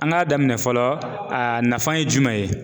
An ka daminɛ fɔlɔ, a nafa ye jumɛn ye.